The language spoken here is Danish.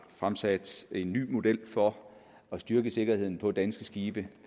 fremsat en ny model for at styrke sikkerheden på danske skibe